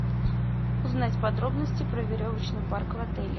узнать подробности про веревочный парк в отеле